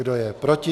Kdo je proti?